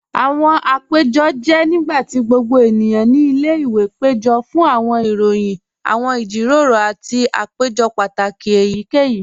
Awọn àpẹ̀jọ́ jẹ́ nígbàtí gbogbo ènìyàn ní ilẹ̀-ìwé pẹ̀jọ̀ fún awọn ìròyìn, awọn ìjíròrò, àti àpẹ̀jọ́ pátákì èyíkèyí.